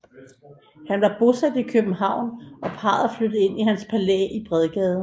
Han var bosat i København og parret flyttede ind i hans palæ i Bredgade